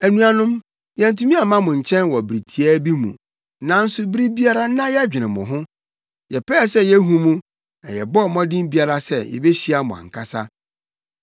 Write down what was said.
Anuanom, yɛantumi amma mo nkyɛn wɔ bere tiaa bi mu, nanso bere biara na yɛdwene mo ho. Yɛpɛɛ sɛ yehu mo, na yɛbɔɔ mmɔden biara sɛ yebehyia mo ankasa.